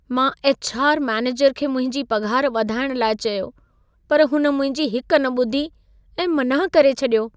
मां HR. Manager खे मुंहिंजी पघार वधाइण लाइ चयो, पर हुन मुंहिंजी हिक न ॿुधी ऐं मनाह करे छॾियो।